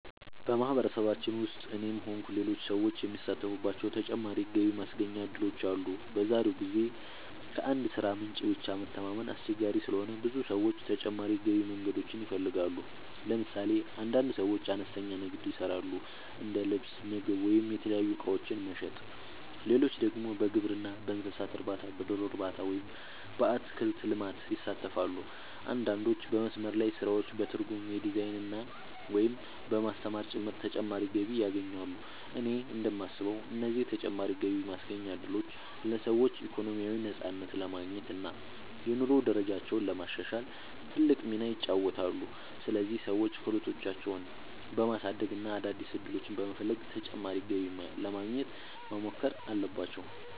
በማህበረሰባችን ውስጥ እኔም ሆንኩ ሌሎች ሰዎች የሚሳተፉባቸው ተጨማሪ የገቢ ማስገኛ እድሎች አሉ። በዛሬው ጊዜ ከአንድ የሥራ ምንጭ ብቻ መተማመን አስቸጋሪ ስለሆነ ብዙ ሰዎች ተጨማሪ የገቢ መንገዶችን ይፈልጋሉ። ለምሳሌ አንዳንድ ሰዎች አነስተኛ ንግድ ይሰራሉ፤ እንደ ልብስ፣ ምግብ ወይም የተለያዩ እቃዎች መሸጥ። ሌሎች ደግሞ በግብርና፣ በእንስሳት እርባታ፣ በዶሮ እርባታ ወይም በአትክልት ልማት ይሳተፋሉ። አንዳንዶች በመስመር ላይ ስራዎች፣ በትርጉም፣ በዲዛይን፣ ወይም በማስተማር ጭምር ተጨማሪ ገቢ ያገኛሉ። እኔ እንደማስበው እነዚህ ተጨማሪ የገቢ ማስገኛ እድሎች ለሰዎች ኢኮኖሚያዊ ነፃነት ለማግኘት እና የኑሮ ደረጃቸውን ለማሻሻል ትልቅ ሚና ይጫወታሉ። ስለዚህ ሰዎች ክህሎታቸውን በማሳደግ እና አዳዲስ ዕድሎችን በመፈለግ ተጨማሪ ገቢ ለማግኘት መሞከር አለባቸው።